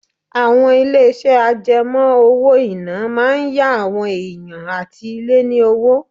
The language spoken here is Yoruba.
Àwọn ilé-iṣẹ́ àjẹmọ́ owó-ìná máa ń yá àwọn èèyàn àti ilé ní owó